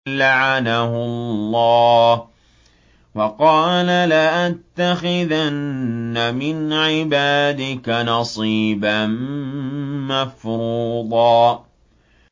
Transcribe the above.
لَّعَنَهُ اللَّهُ ۘ وَقَالَ لَأَتَّخِذَنَّ مِنْ عِبَادِكَ نَصِيبًا مَّفْرُوضًا